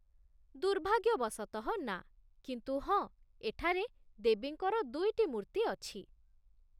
ଦୁର୍ଭାଗ୍ୟବଶତଃ, ନା, କିନ୍ତୁ ହଁ, ଏଠାରେ ଦେବୀଙ୍କର ଦୁଇଟି ମୂର୍ତ୍ତି ଅଛି।